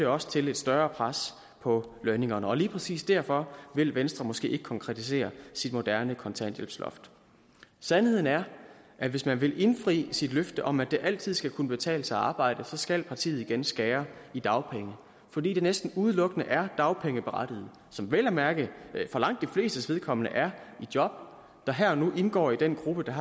også til et større pres på lønningerne og lige præcis derfor vil venstre måske ikke konkretisere sit moderne kontanthjælpsloft sandheden er at hvis man vil indfri sit løfte om at det altid skal kunne betale sig at arbejde så skal partiet igen skære i dagpengene fordi det næsten udelukkende er dagpengeberettigede som vel at mærke for langt de flestes vedkommende er i job der her og nu indgår i den gruppe der